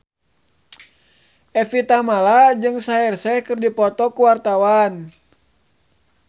Evie Tamala jeung Shaheer Sheikh keur dipoto ku wartawan